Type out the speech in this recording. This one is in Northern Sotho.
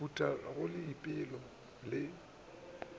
go phutha go leipola le